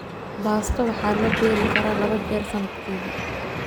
Baasto waxaa la beeri karaa labo jeer sanadkiiba.